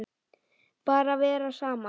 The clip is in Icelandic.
Bara vera saman.